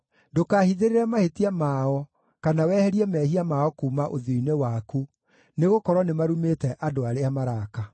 Ndũkahithĩrĩre mahĩtia mao kana weherie mehia mao kuuma ũthiũ-inĩ waku, nĩgũkorwo nĩmarumĩte andũ arĩa maraaka.